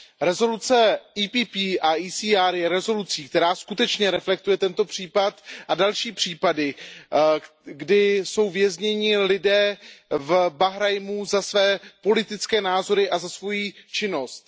Rezoluce PPE a ECR je rezolucí, která skutečně reflektuje tento případ a další případy, kdy jsou vězněni lidé v Bahrajnu za své politické názory a za svoji činnost.